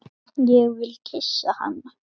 Ég vil kyssa hana.